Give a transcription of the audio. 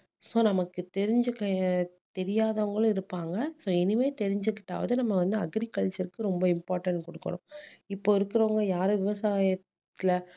so நமக்கு தெரிஞ்சிக்க அஹ் தெரியாதவங்களும் இருப்பாங்க so இனிமேல் தெரிஞ்சுகிட்டாவது நம்ம வந்து agriculture க்கு ரொம்ப important கொடுக்கணும் இப்போ இருக்கிறவங்க யாரு விவசாயத்துல